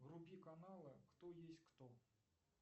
вруби каналы кто есть кто